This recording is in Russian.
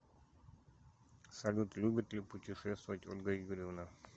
салют любит ли путешествовать ольга юрьевна